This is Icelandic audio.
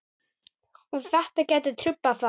Og þetta gæti truflað það?